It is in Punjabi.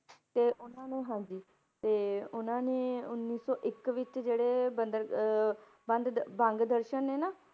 ਤੇ ਉਹਨਾਂ ਨੇ ਹਾਂਜੀ ਤੇ ਉਹਨਾਂ ਨੇ ਉੱਨੀ ਸੌ ਇੱਕ ਵਿੱਚ ਜਿਹੜੇ ਬੰਦਰ~ ਅਹ ਬੰਦ ਦ~ ਬੰਦ ਦਰਸ਼ਨ ਨੇ ਨਾ,